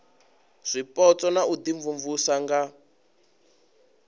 zwipotso na u imvumvusa nga